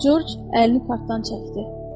Corc əlini qartdan çəkdi.